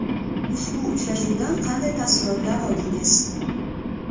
Ushbu uchrashuvdan qanday taassurotlar oldingiz?